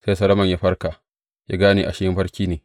Sai Solomon ya farka, ya gane ashe mafarki ne.